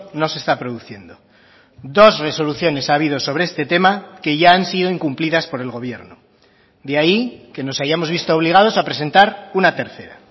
no se está produciendo dos resoluciones ha habido sobre este tema que ya han sido incumplidas por el gobierno de ahí que nos hayamos visto obligados a presentar una tercera